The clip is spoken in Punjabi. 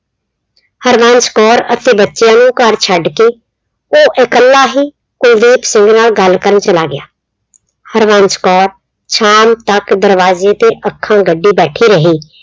ਹਰਬੰਸ ਕੌਰ ਅਤੇ ਬੱਚਿਆਂ ਨੂੰ ਘਰ ਛੱਡ ਕੇ, ਉਹ ਇਕੱਲਾ ਹੀ ਕੁਲਦੀਪ ਸਿੰਘ ਨਾਲ ਗੱਲ ਕਰਨ ਚਲਾ ਗਿਆ। ਹਰਬੰਸ ਕੌਰ ਸ਼ਾਮ ਤੱਕ ਦਰਵਾਜ਼ੇ ਤੇ ਅੱਖਾਂ ਗੱਡੀ ਬੈਠੀ ਰਹੀ।